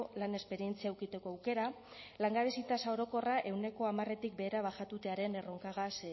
lan esperientzia edukitzeko aukera langabezia tasa orokorra ehuneko hamartik behera bajatutaren erronkagaz